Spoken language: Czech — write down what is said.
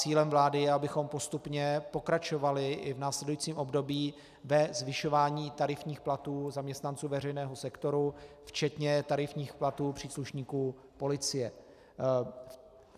Cílem vlády je, abychom postupně pokračovali i v následujícím období ve zvyšování tarifních platů zaměstnanců veřejného sektoru včetně tarifních platů příslušníků policie.